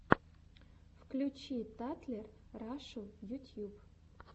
включи татлер рашу ютьюб